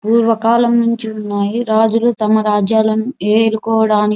పూర్వకాలం నుంచి ఉన్నాయి రాజులూ తమ రాజ్యాలను ఏలుకోవడాని --